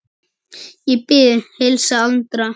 Ég bið að heilsa Andra.